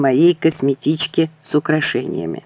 моей косметички с украшениями